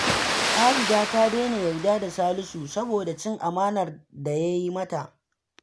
Abida ta daina yarda da Salisu, saboda cin amanar da ya yi mata